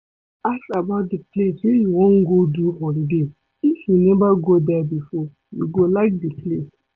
Ask about di place wey you wan go do holiday if you neva go there before you go like di place